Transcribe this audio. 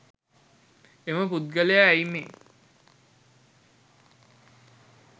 එම පුද්ගලයා ඇයි මේ